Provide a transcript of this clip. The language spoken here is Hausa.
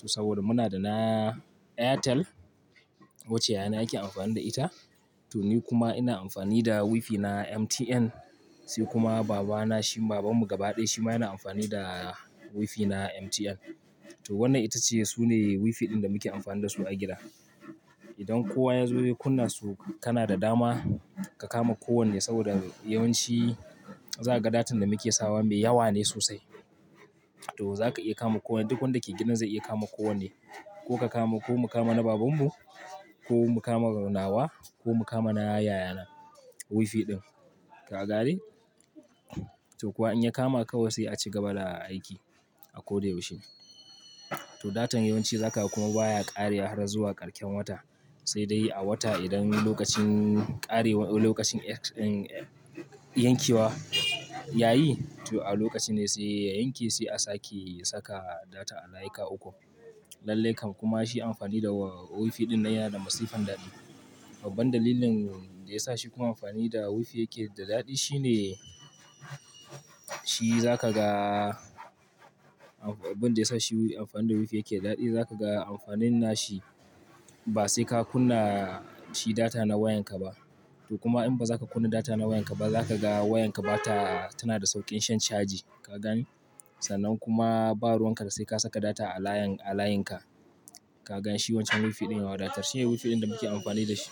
To saboda muna da na Airtel wacce yana ake amfani da ita. To ni kuma ina amfani da wifi na MTN, sai kuma baba na, shi babanmu gaba ɗaya shi ma yana amfani da wifi na MTN. To wannan ita ce su ne wifi ɗin da muke amfani da su a gida. Idan kowa ya zo ya kunna su, kana da dama ka kama ko wanne saboda yawanci za ka ga datan da muke sawa mai yawa ne sosai. To za ka iya kama kowane duk wanda ke gidan zai iya kama ko wanne. Ko ka kama, ko mu kama na babanmu, ko mu kama na nawa ko mu kama na yayana wifi ɗin. Ka ga gane? To kuwa in ya kama kawai sai a ci gaba da aiki a ko da yaushe. To datan yawanci zaka kuma baya ƙare har zuwa karshen wata, sai dai a wata idan lokacin ƙarewa, lokacin, um, yankewa yayi to a lokaci ne sai ya yanke sai a sake saka data a layika ukun. Lallai kam kuma shi amfani da wifi dinnan yana da masifan daɗi. Babban dalilin da yasa shi kuma amfani da wifi yake da daɗi shine shi za ka ga-- abin da yasa shi amfani da wifi yake daɗi za ka ga amfanin na shi ba sai ka kunna shi data na wayan ka ba. To kuma in ba za ka kunna data na wayan ka ba za ka ga wayan ka bata, tana da sauƙin shan caji. Ka gane? Sannan kuma ba ruwan ka da sai ka saka data a layin, a layin ka. Ka gan shi wancan wifi ɗin ya wadatar. Shine wifi ɗin da muke amfani da shi.